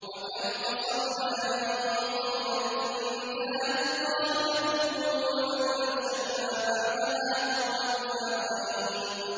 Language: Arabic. وَكَمْ قَصَمْنَا مِن قَرْيَةٍ كَانَتْ ظَالِمَةً وَأَنشَأْنَا بَعْدَهَا قَوْمًا آخَرِينَ